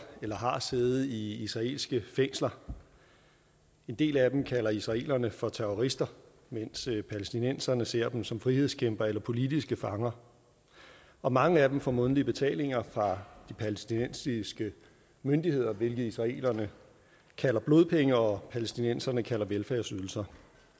eller har siddet i israelske fængsler en del af dem kalder israelerne for terrorister mens palæstinenserne ser dem som frihedskæmpere eller politiske fanger og mange af dem får månedlige betalinger fra de palæstinensiske myndigheder hvilket israelerne kalder blodpenge og palæstinenserne kalder velfærdsydelser